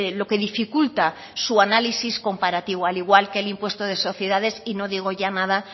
lo que dificulta su análisis comparativo al igual que el impuesto de sociedades y no digo ya nada